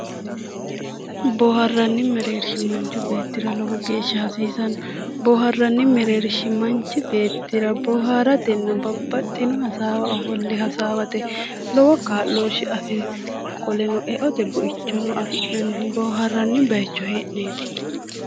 Boohaarranni mereershsho Manchu beettira lowo geeshsha hasiisanno boohaarranni mereeri manchu beettira lowo geeshsha babaxino hassawa ofolle hassawate lowo kaa'loshshe afirino qoleno eote buichono afi'nannihu boohaarrannihu boohaarranni baycho hee'neeti